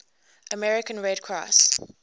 american red cross